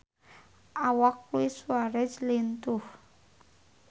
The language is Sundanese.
Awak Luis Suarez lintuh